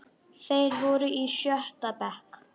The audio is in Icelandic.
Þeir voru í sjötta bekk.